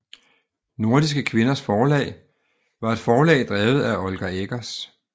Nordiske Kvinders Forlag var et forlag drevet af Olga Eggers